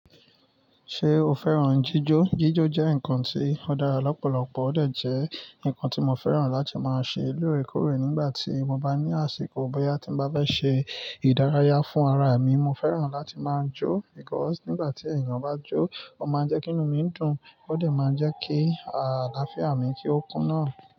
Ṣé o fẹ́ràn jíjó? Jíjó jẹ́ nǹkan tí ó dára lọ́pọ̀lọpọ̀, ó dè jẹ́ nǹkan tí mo fẹ́ràn láti máa ṣe lóòrèkóòrè nígbà tí mo bá ní àsìkò. Bóyá tí mo bá bẹ́ ṣe ìdárayá fún ara èmi, mo fẹ́ràn láti máa jó because nígbà tí èèyàn bá jó, ó máa ń jẹ́ kí inú mi dùn, ó dè máa ń jẹ́ kí àlàáfíà mi kí ó kúnná.